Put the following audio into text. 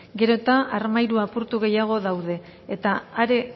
gero eta armairu apurtu gehiago daude eta are